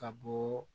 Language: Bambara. Ka bɔ